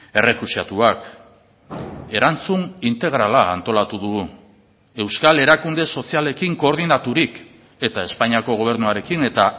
errefuxiatuak erantzun integrala antolatu dugu euskal erakunde sozialekin koordinaturik eta espainiako gobernuarekin eta